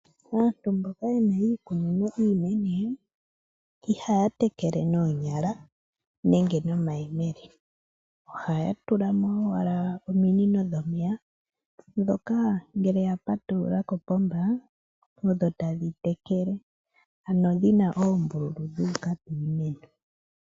Aantu mboka yenna iikunino iinene ihaya tekele noonyala nenge nomayemele, ohaya tula mo owala ominino dhomeya ndhoka ngele ya patulula kopomba osho tadhi tekele ano dhi na oombululu dhu uka piimeno.